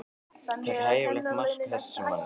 Takið hæfilegt mark á þessum manni.